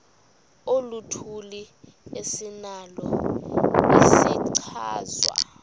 oluthile esinalo isichazwa